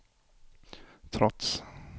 trots